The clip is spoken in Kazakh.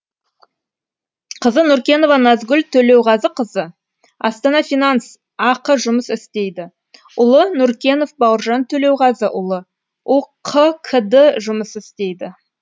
қызы нұркенова назгүл төлеуғазықызы астана финанс ақ жұмыс істейді ұлы нұркенов бауыржан төлеуғазыұлы үқкд жұмыс істейді